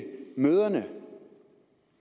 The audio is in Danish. mødrene